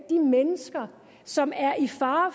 de mennesker som er i fare